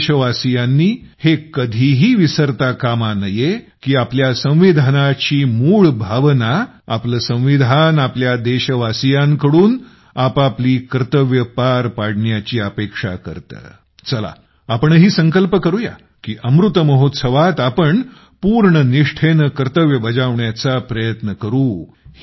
आपण देशवासियांनी हे कधीही विसरता कामा नये की आपल्या संविधानाची मूळ भावना आपले संविधान आपणा सर्व देशवासियांकडून आपापली कर्तव्ये पार पाडण्याची अपेक्षा करतं चला आपणही संकल्प करू या कि अमृतमहोत्सवात आपण पूर्ण निष्ठेने कर्तव्य बजावण्याचा प्रयत्नकरू